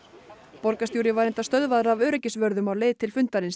borgarstjóri var stöðvaður af öryggisvörðum á leið til fundarins